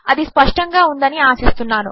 అది స్పష్టంగా ఉంది అని ఆశిస్తాను